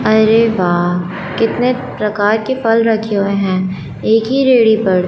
अरे वाह कितने प्रकार के फल रखे हुए हैं? एक ही पर--